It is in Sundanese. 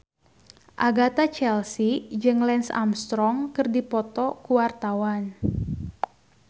Agatha Chelsea jeung Lance Armstrong keur dipoto ku wartawan